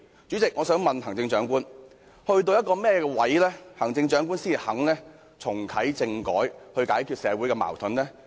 主席，我想問行政長官，在甚麼情況下，行政長官才肯重啟政改，以解決社會的矛盾呢？